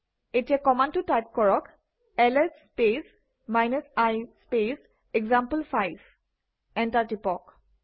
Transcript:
এই কমাণ্ডটো টাইপ কৰক - LS space i space example five enter টিপক